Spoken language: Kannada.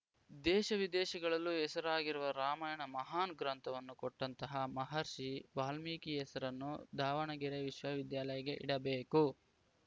ದೇಶ ವಿದೇಶಗಳಲ್ಲೂ ಹೆಸರಾಗಿರುವ ರಾಮಾಯಣ ಮಹಾನ್‌ ಗ್ರಂಥವನ್ನು ಕೊಟ್ಟಂತಹ ಮಹರ್ಷಿ ವಾಲ್ಮೀಕಿ ಹೆಸರನ್ನು ದಾವಣಗೆರೆ ವಿಶ್ವ ವಿದ್ಯಾಲಯಗೆ ಇಡಬೇಕು